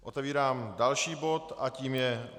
Otevírám další bod a tím je